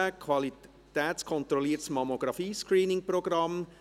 «Qualitätskontrolliertes Mammographie-Screening-Programm».